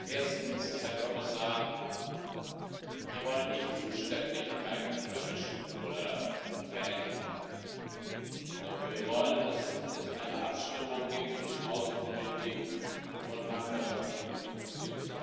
Erstens, Herr Kommissar Wir wollen nicht Zuständigkeiten verwischen oder verändern, sondern wir wollen, dass es eine Abstimmung gibt zwischen Außenpolitik und Nachbarschaftspolitik bzw.